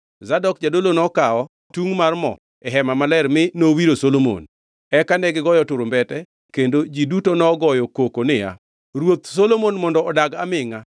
Zadok jadolo nokawo tungʼ mar mo e Hema Maler mi nowiro Solomon. Eka negigoyo turumbete kendo ji duto nogoyo koko niya, “Ruoth Solomon mondo odag amingʼa!”